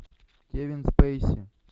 кевин спейси